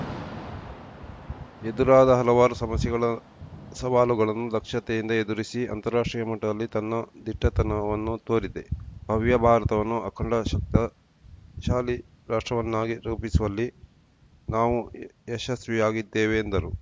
ಎದುರಾದ ಹಲವಾರು ಸಮಸ್ಯೆಗಳ ಸವಾಲುಗಳನ್ನು ದಕ್ಷತೆಯಿಂದ ಎದುರಿಸಿ ಅಂತಾರಾಷ್ಟ್ರೀಯ ಮಟ್ಟದಲ್ಲಿ ತನ್ನ ದಿಟ್ಟತನವನ್ನು ತೋರಿದೆ ಭವ್ಯ ಭಾರತವನ್ನು ಅಖಂಡ ಶಕ್ತ ಶಾಲಿ ರಾಷ್ಟ್ರವನ್ನಾಗಿ ರೂಪಿಸುವಲ್ಲಿ ನಾವು ಯಶಸ್ವಿಯಾಗಿದ್ದೇವೆ ಎಂದರು